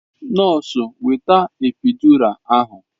Nọọsụ weta epiidura ahụ!